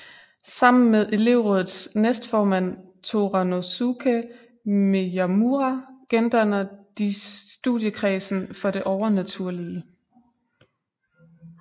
Sammen med elevrådets næstformand Toranosuke Miyamura gendanner de Studiekredsen for det Overnaturlige